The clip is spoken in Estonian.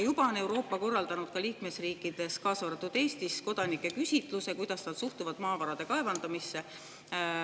Juba on Euroopa korraldanud liikmesriikides, kaasa arvatud Eestis, kodanike küsitluse, et kuidas nad suhtuvad maavarade kaevandamisse.